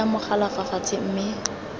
baya mogala fa fatshe mme